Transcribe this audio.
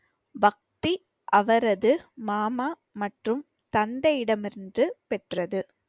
பக்தி அவரது மாமா மற்றும் தந்தையிடமிருந்து பெற்றது